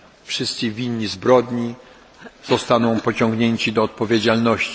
Wszyscy winni zbrodni zostaną pociągnięci do odpowiedzialności.